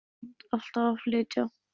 En neitaði samt alltaf að flytja.